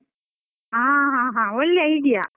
ಹಾ ಹಾ ಹಾ ಹಾ, ಒಳ್ಳೆ idea .